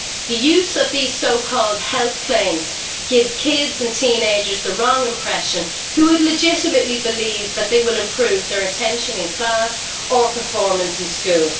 The use of these so called health claims gives kids and teenagers the wrong impression they could legitimately believe that they will improve their attention in class or their performance in school.